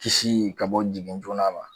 Kisi ka bɔ jigin joona ma